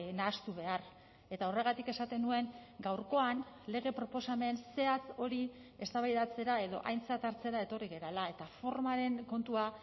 nahastu behar eta horregatik esaten nuen gaurkoan lege proposamen zehatz hori eztabaidatzera edo aintzat hartzera etorri garela eta formaren kontua